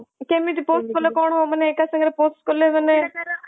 କେମିତି post କାଲେ କଣ ମାନେ ଏକ ସାଙ୍ଗରେ post କାଲେ ମାନେ